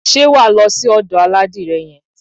Ṣé wà á lọ sí ọ̀dò aládìrẹ yẹn?